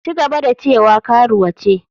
Ci gaba da cewa karuwa ce.